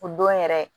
O don yɛrɛ